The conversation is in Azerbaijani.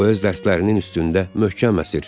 O öz dərslərinin üstündə möhkəm əsir.